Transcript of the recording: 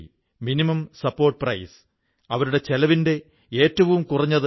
ഈ ലൈബ്രറി ഏഴു ദിവസവും ഇരുപത്തിനാലു മണിക്കൂറും തുറന്നിരിക്കുന്നു